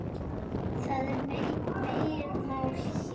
Það er megin mál hér.